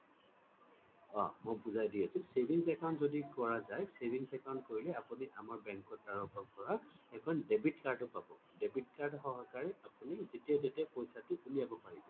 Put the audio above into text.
অ মই বুজাই দি আছোঁ savings account যদি কৰা যায় savings account কৰিলে আপুনি আমাৰ bank ৰ তৰফৰ পৰা এখন debit card ও পাব debit card সহকাৰে আপুনি যেতিয়াই তেতিয়াই পইছা টো উলাব পাৰিব